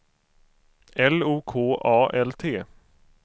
L O K A L T